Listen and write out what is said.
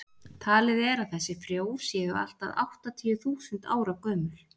talið er að þessi frjó séu allt að áttatíu þúsund ára gömul